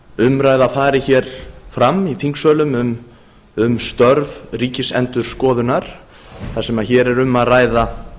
umræða fari hér fram í þingsölum um störf ríkisendurskoðunar þar sem hér er um að ræða